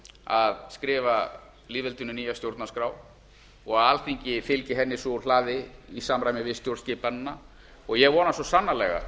að skrifa lýðveldinu nýja stjórnarskrá og að alþingi fylgi henni svo úr hlaði í samræmi við stjórnskipanina ég vona svo sannarlega